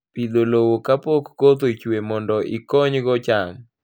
Pidho lowo kapok koth ochue mondo ikonygo cham